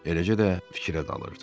Eləcə də fikirə dalırdı.